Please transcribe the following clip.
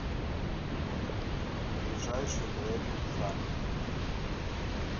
ближайший блэк шарк